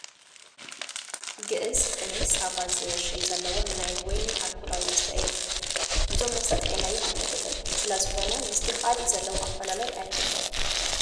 ግእዝ፣ ቅኔ፣ ሳባ ዝብል ሽም ዘለዎም ናይ ወይኒ ኣልኮላዊ መስተ እኔዉ፡፡ ነዞም መስተ ጥዕመዮም ኣይፈልጥን፡፡ ስለዝኾነ ምስቲ ካልእ ዘለዎም ኣፈላላይ ኣይፈልጦን፡፡